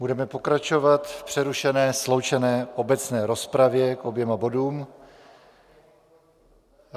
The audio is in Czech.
Budeme pokračovat v přerušené sloučené obecné rozpravě k oběma bodům.